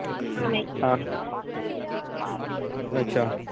ਹਾਂ ਅੱਛਾ